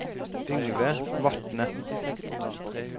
Yngve Vatne